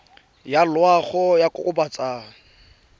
ya loago ya go kokobatsa